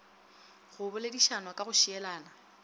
go boledišanwa ka go šielana